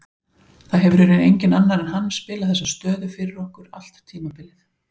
Það hefur í raun enginn annar en hann spilað þessa stöðu fyrir okkur allt tímabilið.